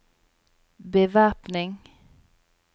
bevæpning